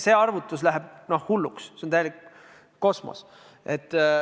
See arvutus läheb hulluks, see on täielik kosmos.